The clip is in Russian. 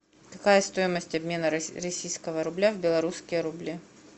какая стоимость обмена российского рубля в белорусские рубли